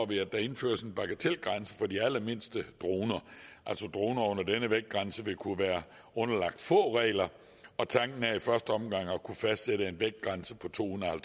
vi at der indføres en bagatelgrænse for de allermindste droner altså droner under denne vægtgrænse vil kun være underlagt få regler og tanken er i første omgang at kunne fastsætte en vægtgrænse på to hundrede og